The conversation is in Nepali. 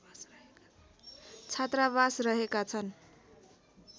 छात्रावास रहेका छन्